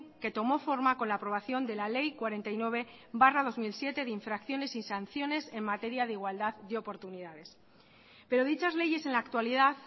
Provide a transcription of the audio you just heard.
que tomó forma con la aprobación de la ley cuarenta y nueve barra dos mil siete de infracciones y sanciones en materia de igualdad de oportunidades pero dichas leyes en la actualidad